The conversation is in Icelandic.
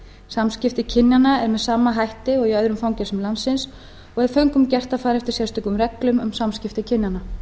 samskipti kynjanna eru með sama hætti og í öðrum fangelsum landsins og er föngum gert að fara eftir sérstökum reglum um samskipti kynjanna